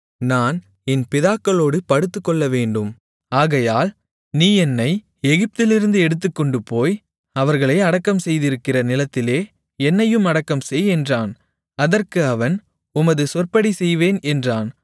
நான் என் பிதாக்களோடு படுத்துக்கொள்ளவேண்டும் ஆகையால் நீ என்னை எகிப்திலிருந்து எடுத்துக்கொண்டுபோய் அவர்களை அடக்கம்செய்திருக்கிற நிலத்திலே என்னையும் அடக்கம்செய் என்றான் அதற்கு அவன் உமது சொற்படி செய்வேன் என்றான்